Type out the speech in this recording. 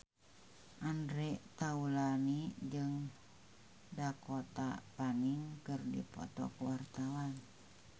Andre Taulany jeung Dakota Fanning keur dipoto ku wartawan